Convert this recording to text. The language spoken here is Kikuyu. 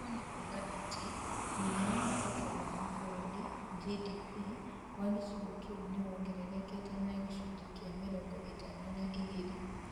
Ũguo nĩ kuuga atĩ mũigana wa Ũtonga wa bũrũri (GDP) wa gĩcigo kĩu nĩ wongererekete na gĩcunjĩ kĩa mĩrongo ĩtatũ na igĩrĩ.